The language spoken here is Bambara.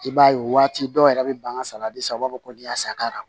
I b'a ye o waati dɔw yɛrɛ bɛ ban ka salati san u b'a fɔ ko ni y'a sakara